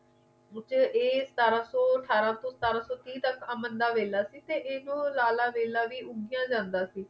ਇਹ ਸਤਾਰਾਂ ਸੋ ਅਠਾਰਾਂ ਸੋ ਸਤਾਰਾਂ ਸੋ ਤੀਹ ਤੱਕ ਅਮਨ ਦਾ ਵੇਲਾ ਸੀ ਇਹੋ ਰਾਲਾ ਵੇਲਾ ਵੀ ਉਦੀਆਂ ਜਾਂਦਾ ਸੀ